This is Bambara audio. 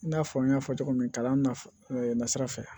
I n'a fɔ n y'a fɔ cogo min na kalan na sira fɛ